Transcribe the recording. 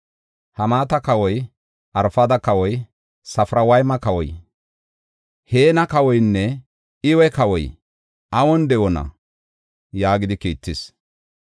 Hamaata kawoy, Arfada kawoy, Safarwayma kawoy, Heena kawoynne Iwa kawoy awun de7oona?” yaagidi kiittis.